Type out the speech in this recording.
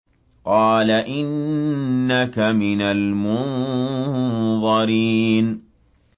قَالَ إِنَّكَ مِنَ الْمُنظَرِينَ